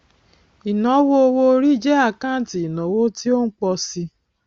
ìnáwó owóorí jẹ àkáǹtì ìnáwó tí ó ń pọ síi